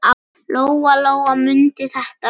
Lóa-Lóa mundi þetta vel.